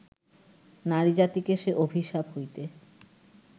নারীজাতিকে সে অভিশাপ হইতে